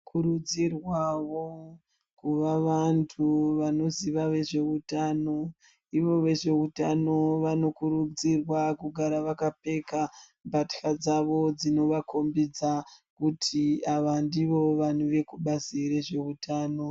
Tinokurudzirwawo kuva vantu vanoziva nezvehutano ivo vezvehutano vanokurudzirwa kugara vakapfeka mbatya dzawo dzinovakombidza kuti ava ndivo vantu vekubazi rezvehutano.